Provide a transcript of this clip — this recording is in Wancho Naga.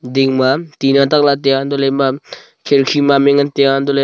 din ma tina tak ley taiya anto leh ema khirki ma ngan ley tai tiya antoh ley--